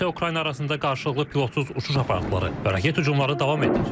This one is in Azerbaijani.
Rusiya-Ukrayna arasında qarşılıqlı pilotsuz uçuş aparatları və raket hücumları davam edir.